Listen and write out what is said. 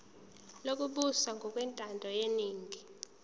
lokubusa ngokwentando yeningi